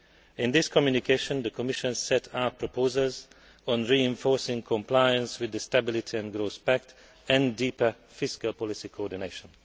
In this communication the Commission set out proposals on reinforcing compliance with the Stability and Growth Pact and deeper fiscal policy coordination.